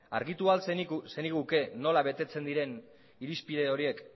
argitu al zeniguke nola betetzen diren irizpide horiek